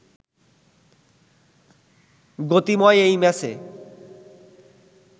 গতিময় এই ম্যাচে